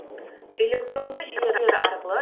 электронды жүйелер арқылы